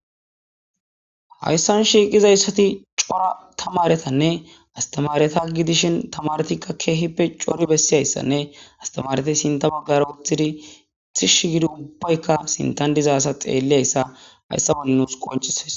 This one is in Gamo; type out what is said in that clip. hayssan shiiqizayssati cora tamaretanne astamareta gidishin tamaretikka keehippe cori bessiyayssanne astamareti sinta baggara uththidi itish gidi ubbaykka sintan dizasa xeelliyayssa hayssa balnus qoncisays